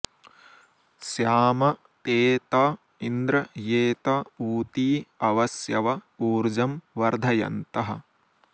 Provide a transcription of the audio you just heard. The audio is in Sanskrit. स्याम॒ ते त॑ इन्द्र॒ ये त॑ ऊ॒ती अ॑व॒स्यव॒ ऊर्जं॑ व॒र्धय॑न्तः